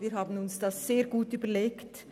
Wir haben uns das sehr gut überlegt.